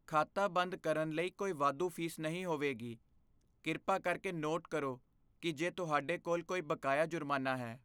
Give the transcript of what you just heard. ਖਾਤਾ ਬੰਦ ਕਰਨ ਲਈ ਕੋਈ ਵਾਧੂ ਫ਼ੀਸ ਨਹੀਂ ਹੋਵੇਗੀ। ਕਿਰਪਾ ਕਰਕੇ ਨੋਟ ਕਰੋ ਕਿ ਜੇ ਤੁਹਾਡੇ ਕੋਲ ਕੋਈ ਬਕਾਇਆ ਜੁਰਮਾਨਾ ਹੈ।